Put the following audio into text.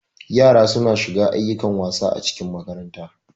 Yara suna shiga ayyukan wasa acikin makaranta.